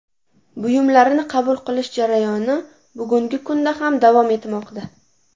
Buyumlarni qabul qilish jarayoni bugungi kunda ham davom etmoqda.